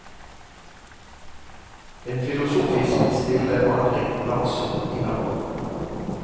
En filosofisk, stille vandring langsomt innover.